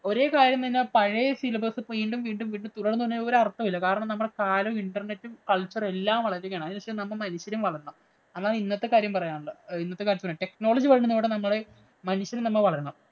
ഒരേ കാര്യം തന്നെ പഴയ syllabus വീണ്ടും വീണ്ടും തുടരുന്നതില്‍ ഒരര്‍ത്ഥവുമില്ല. കാലം നമ്മടെ കാലം internet, culture എല്ലാം വളരുകയാണ്. അതിനനുസരിച്ച് നമ്മള്‍ മനുഷ്യരും വളരണം. അതാണ്‌ ഇന്നത്തെ കാര്യം പറയാനുള്ളത്. Technolgy വളരുന്നതോടെ നമ്മുടെ മനുഷ്യനും നമ്മ വളരണം.